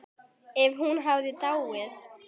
Ef hún hefði dáið.